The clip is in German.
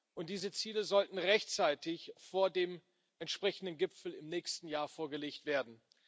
Und diese Ziele sollten rechtzeitig vor dem entsprechenden Gipfel im nächsten Jahr vorgelegt werden.